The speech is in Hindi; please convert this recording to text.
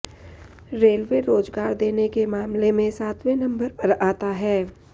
रेलवे रोजगार देने के मामले में सातवें नंबर पर आता है